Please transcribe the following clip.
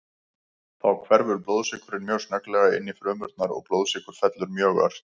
Þá hverfur blóðsykurinn mjög snögglega inn í frumurnar og blóðsykur fellur mjög ört.